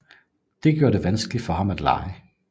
Det gjorde det vanskeligt for ham at lege